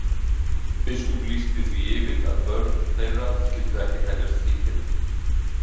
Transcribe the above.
Biskup lýsti því yfir að börn þeirra skyldu ekki teljast skilgetin.